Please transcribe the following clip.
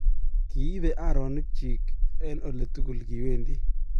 kiibe aronik chich eng ole tugul kiwendi